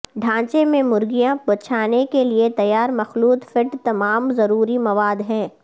ڈھانچے میں مرگیاں بچھانے کے لئے تیار مخلوط فیڈ تمام ضروری مواد ہے